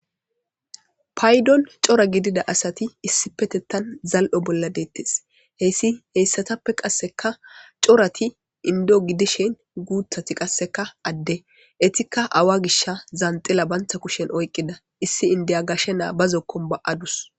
Paydon cora gidida asati issi petettan zal'o bolla deettes heyssi heyssatappe qasseka corati indo gidishen guuthati qasseka adde etikka awa gisha zaanxila bantha kushen oyqqida issi indiya gashe naa ba zokkon ba'adus.